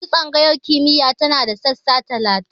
Yanzu tsangayar kimiyya tana da sassa talatin.